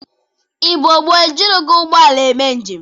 Igbo gboo e jirighi ụgbọ ala eme njem.